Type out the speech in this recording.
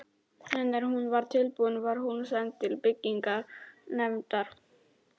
En er hún var tilbúin, var hún send til byggingarnefndar.